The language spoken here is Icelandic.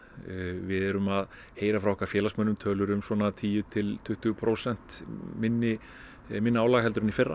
við erum að heyra frá okkar félagsmönnum tölur um svona tíu til tuttugu prósent minna minna álag heldur en í fyrra